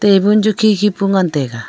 tabul chu khe khe pu ngan taiga.